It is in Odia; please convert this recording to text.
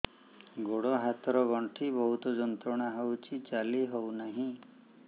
ଗୋଡ଼ ହାତ ର ଗଣ୍ଠି ବହୁତ ଯନ୍ତ୍ରଣା ହଉଛି ଚାଲି ହଉନାହିଁ